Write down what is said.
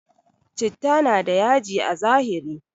Chitta na da yaji a zahiri